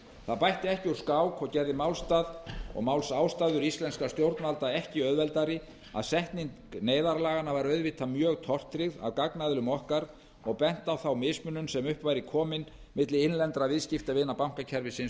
það bætti ekki úr skák og gerði málsástæður íslenskra stjórnvalda ekki auðveldari að setning neyðarlaganna var auðvitað mjög tortryggð af gagnaðilum okkar og bent á þá mismunun sem upp væri komin milli innlendra viðskiptavina bankakerfisins